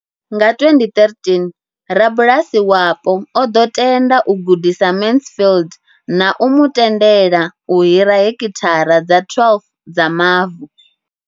Nga 2013, rabulasi wapo o ḓo tenda u gudisa Mansfield na u mu tendela u hira heki thara dza 12 dza mavu.